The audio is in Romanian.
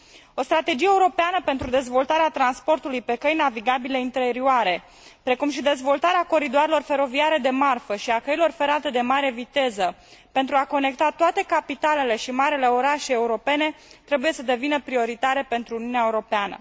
O strategie europeană pentru dezvoltarea transportului pe căi navigabile interioare, precum și dezvoltarea coridoarelor feroviare de marfă și a căilor ferate de mare viteză pentru a conecta toate capitalele și marile orașe europene, trebuie să devină prioritare pentru Uniunea Europeană.